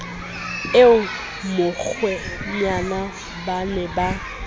eo mokgwenyana ba ne ba